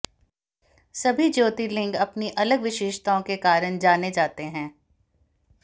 सभी ज्योतिर्लिंग अपनी अलग विशेषताओं के कारण जाने जाते हैं